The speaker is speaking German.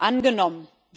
angenommen.